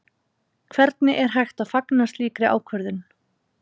Hvernig er hægt að fagna slíkri ákvörðun?